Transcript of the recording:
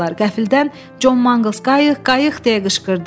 Qəfildən Con Manqls qayıq, qayıq! deyə qışqırdı.